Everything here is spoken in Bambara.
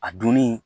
A donni